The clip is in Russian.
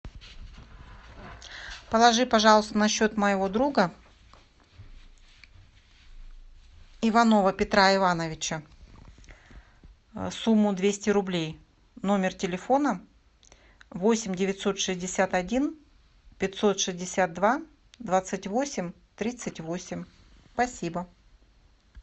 положи пожалуйста на счет моего друга иванова петра ивановича сумму двести рублей номер телефона восемь девятьсот шестьдесят один пятьсот шестьдесят два двадцать восемь тридцать восемь спасибо